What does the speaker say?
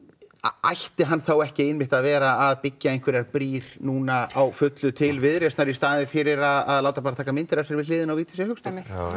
ætti hann ekki að vera að byggja einhverjar brýr núna á fullu til Viðreisnar í staðin fyrir að láta bara taka myndir af sér við hliðina á Vigdísi Hauksdóttir það